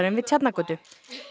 við Tjarnargötu